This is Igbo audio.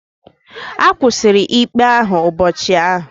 A kwụsịrị ikpe ahụ ụbọchị ahụ?